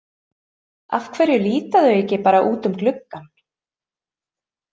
Af hverju líta þau ekki bara út um gluggann?